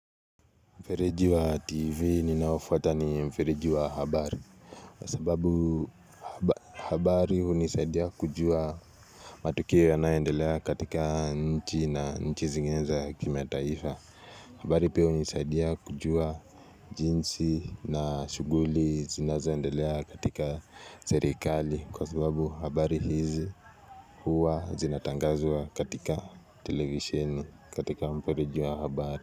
Mfereji wa tv ninaoufuata ni mfereji wa habari kwa sababu habari hunisaidia kujua matukio yanayoendelea katika nchi na nchi zinginezo za kimataifa habari pia hunisaidia kujua jinsi na shughuli zinazoendelea katika serikali Kwa sababu habari hizi huwa zinatangazwa katika televisheni katika mfereji wa habari.